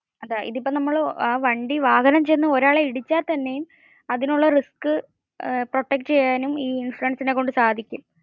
ഇതിപ്പോ നമ്മൾ വാഹനം ചെന്ന് ഒരാളെ ഇടിച്ച തന്നെയും അതിൽ ഉള്ള risk protect ചെയ്യാനും ഈ ഇൻഷുറൻസിനേം കൊണ്ട് സാധിക്കും